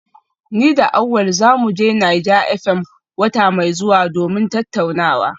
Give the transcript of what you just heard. Ni da Awal za mu je Naija FM wata mai zuwa domin tattaunawa